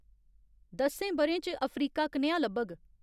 दस्सें ब'रें च अफ्रीका कनेहा लब्भग